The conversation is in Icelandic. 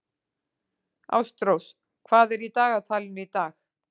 Ástrós, hvað er í dagatalinu í dag?